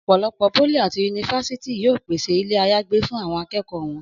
Ọ̀pọ̀lọpọ̀ pólì àti yunifásítì yóò pèsè ilé-àyágbé fún àwọn akẹ́kọ̀ọ́ wọn